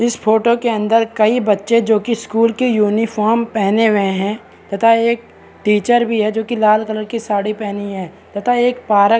इस फोटो के अंदर कई बच्चे जो की स्कूल की यूनिफार्म पहने हुए है तथा एक टीचर भी है जो की लाल कलर की साड़ी पहनी है तथा एक पार्क --